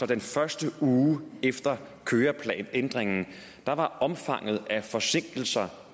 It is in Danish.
den første uge efter køreplanændringen var omfanget af forsinkelser